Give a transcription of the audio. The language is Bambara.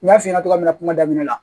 N y'a f'i ɲɛna togoya min na kuma daminɛ la